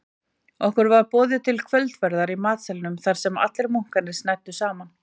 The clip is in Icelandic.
Okkur var boðið til kvöldverðar í matsalnum þarsem allir munkarnir snæddu saman.